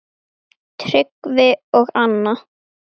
Tryggvi og Anna.